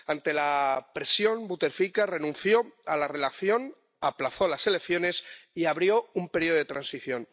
Ante la presión, Buteflika renunció a la reelección, aplazó las elecciones y abrió un periodo de transición.